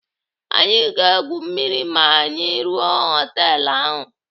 Anyị ga-egwu mmiri ma anyị ruo họtelu ahụ.